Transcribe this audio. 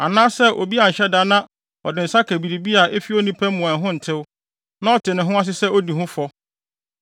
anaa sɛ obi anhyɛ da na ɔde ne nsa ka biribi a efi onipa mu a ɛho ntew na ɔte ne ho ase sɛ odi ho fɔ,